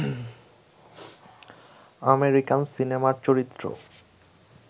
American সিনেমার চরিত্র